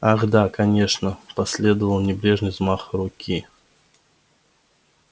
ах да конечно последовал небрежный взмах руки